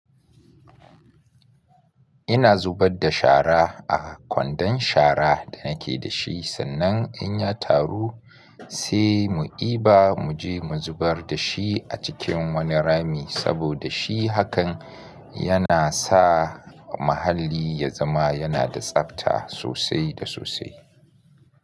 Ina zubar da shara a kwandon shara da nake da shi sannan in ya taru sai mu diba mu je mu zubar da shi a cikin wani rami saboda shi hakan yana sa muhalali ya zama yana da tsabta sosai da sosai.